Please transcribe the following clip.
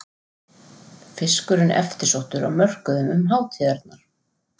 Fiskurinn eftirsóttur á mörkuðum um hátíðarnar